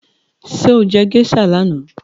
Sọ jẹ́ geisha lánàá?